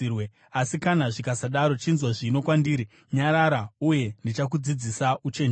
Asi kana zvisakadaro, chinzwa zvino kwandiri; nyarara, uye ndichakudzidzisa uchenjeri.”